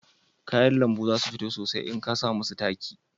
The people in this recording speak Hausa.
Kayan lambu za su fito sosai in a ka samu su taki